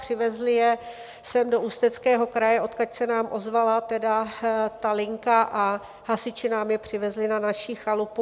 Přivezli je sem do Ústeckého kraje, odkud se nám ozvala tedy ta linka, a hasiči nám je přivezli na naši chalupu.